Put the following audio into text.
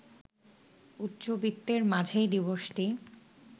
উচ্চবিত্তের মাঝেই দিবসটি